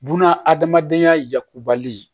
Buna adamadenya yakubali